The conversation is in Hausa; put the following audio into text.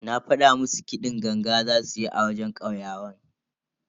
Na fada musu kiɗin ganga zasu yi a wajen kauyawan.